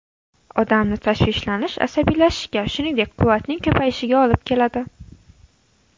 Odamni tashvishlanish, asabiylashishga, shuningdek, quvvatning ko‘payishiga olib keladi.